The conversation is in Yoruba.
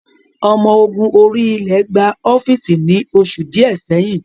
Omo ogun orí-ilẹ̀ gba ọ́fíìsì ni oṣù díẹ̀ sẹ́yìn